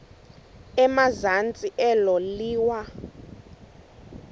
emazantsi elo liwa